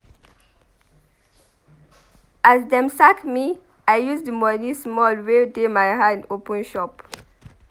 As dem sack me I use di small moni wey dey my hand open shop.